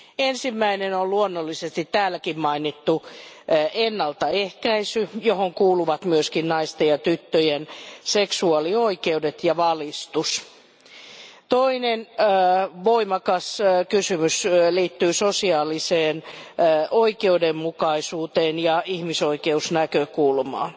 Ensimmäinen on luonnollisesti täälläkin mainittu ennaltaehkäisy, johon kuuluvat myöskin naisten ja tyttöjen seksuaalioikeudet ja —valistus. Toinen voimakas kysymys liittyy sosiaaliseen oikeudenmukaisuuteen ja ihmisoikeusnäkökulmaan.